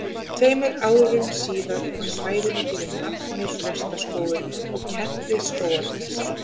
Tveimur árum síðar var svæðinu gefið nafnið Þrastaskógur og kennt við skógarþresti.